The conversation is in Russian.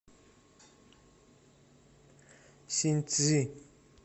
синьцзи